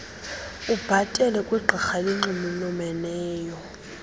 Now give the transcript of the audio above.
ubhatele kwigqirha elinxulumeneyo